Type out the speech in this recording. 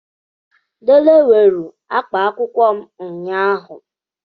Dele weere akpa akwụkwọ m ụnyahụ.